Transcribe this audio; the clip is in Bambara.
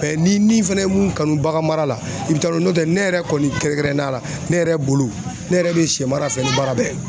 Mɛ n'i ni fɛnɛ ye mun kanu bagan mara la, i bi taa n'o ye ,ne yɛrɛ kɔni kɛrɛnkɛrɛnnenya la ne yɛrɛ bolo, ne yɛrɛ be sɛ mara fɛnɛ ni baara bɛɛ ye .